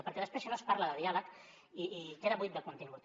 perquè després si no es parla de diàleg i queda buit de contingut